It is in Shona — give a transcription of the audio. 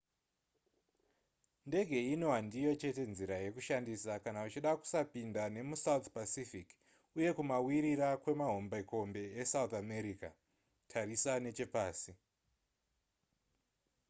ndege ino handiyo chete nzira yekushandisa kana uchida kusapinda nemusouth pacific uye kumawirira kwemahombekombe esouth america. tarisa nechepasi